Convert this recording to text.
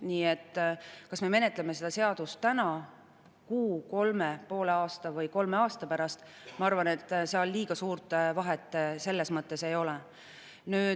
Nii et kas me menetleme seda seadust täna või kuu või kolme kuu pärast või poole aasta või kolme aasta pärast, ma arvan, seal liiga suurt vahet selles mõttes ei ole.